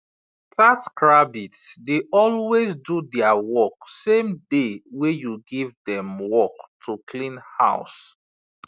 taskrabbit dey always do their work same day wey you give dem work to clean house